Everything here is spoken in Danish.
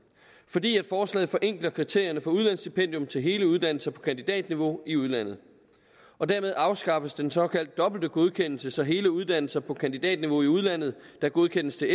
fordi forslaget forenkler kriterierne for udlandsstipendium til hele uddannelser på kandidatniveau i udlandet og dermed afskaffes den såkaldte dobbelte godkendelse så hele uddannelser på kandidatniveau i udlandet der godkendes til